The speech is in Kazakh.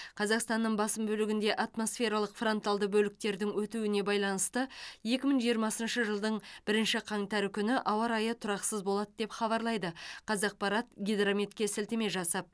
қазақстанның басым бөлігінде атмосфералық фронталды бөліктердің өтуіне байланысты екі мың жиырмасыншы жылдың бірінші қаңтары күні ауа райы тұрақсыз болады деп хабарлайды қазақпарат гидрометке сілтеме жасап